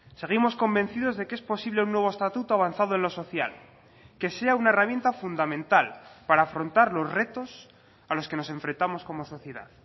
seguimos convencidos de que es posible un nuevo estatuto avanzado en lo social que sea una herramienta fundamental para afrontar los retos a los que nos enfrentamos como sociedad